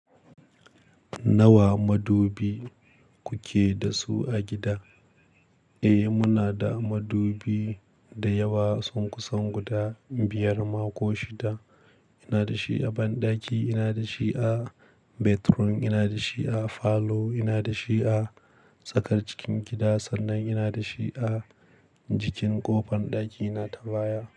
Nawa madubi kuke da su a gida? Eh, muna da madubi da yawa, sun kusan guda biyar ma ko shida. Ina da shi a banɗaki, ina da shi a bedroom, ina da shi a falo, ina da shi a tsakar cikin gida sannan ina da shi a jikin ƙofar ɗakina ta baya.